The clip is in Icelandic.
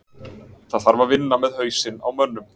Það þarf að vinna með hausinn á mönnum.